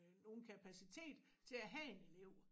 Nogen kapacitet til at have en elev